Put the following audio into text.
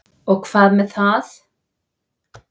Og hvað með það?